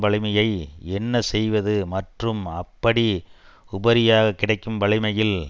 வலிமையை என்ன செய்வது மற்றும் அப்படி உபரியாக கிடைக்கும் வலிமையில்